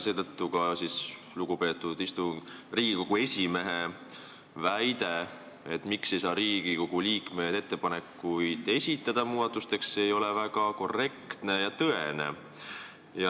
Seetõttu lugupeetud Riigikogu esimehe väide, miks ei saa Riigikogu liikmed muudatusettepanekuid esitada, ei ole väga korrektne ja tõene.